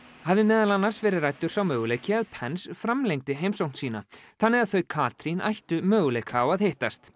hafi meðal annars verið ræddur sá möguleiki að framlengdi heimsókn sína þannig að þau Katrín ættu möguleika á að hittast